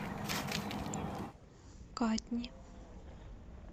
катни